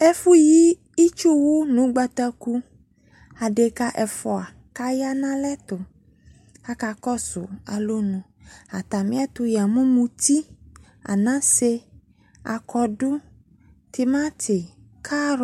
Ɛfo yi itsuwo no ugbataku Adeka ɛfua ya no alɛo akakɔso alɔnu Atamiato ya mu muti, anase, akɔdu, temate, karɔ